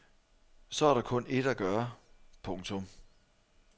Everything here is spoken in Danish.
Så er der kun ét at gøre. punktum